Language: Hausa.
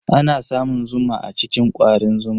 Ana samun zuma a cikin kwarin zuma.